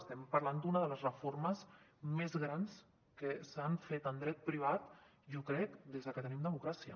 estem parlant d’una de les reformes més grans que s’han fet en dret privat jo crec des de que tenim democràcia